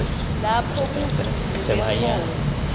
lapho kuvuvuke khona